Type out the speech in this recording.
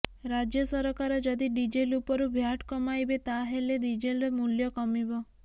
ରାଜ୍ୟ ସରକାର ଯଦି ଡିଜେଲ ଉପରୁ ଭ୍ୟାଟ୍ କମାଇବେ ତାହାହେଲେ ଡିଜେଲର ମୂଲ୍ୟ କମିବ